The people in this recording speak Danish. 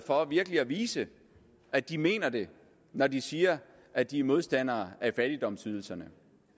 for virkelig at vise at de mener det når de siger at de er modstandere af fattigdomsydelserne